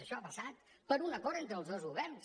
això ha passat per un acord entre els dos governs